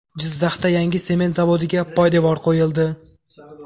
Jizzaxda yangi sement zavodiga poydevor qo‘yildi.